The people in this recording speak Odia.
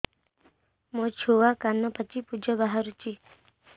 ମୋ ଛୁଆ କାନ ପାଚି ପୂଜ ବାହାରୁଚି